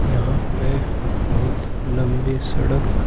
यहां पे बहुत लंबी सड़क--